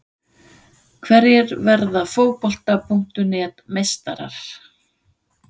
Hverjir verða Fótbolta.net meistarar?